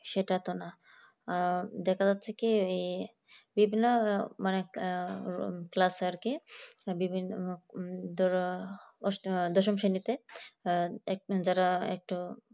সেটা তো না ব্যাপার হচ্ছে কি class আর কি বিভিন্ন দশম শ্রেণীতে যারা আছে